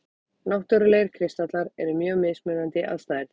Náttúrlegir kristallar eru mjög mismunandi að stærð.